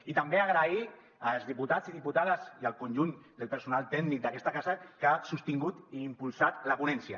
i també agrair als diputats i diputades i al conjunt del personal tècnic d’aquesta casa que han sostingut i impulsat la ponència